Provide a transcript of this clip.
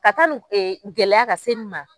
Ka taa ni gɛlɛya ka se nin ma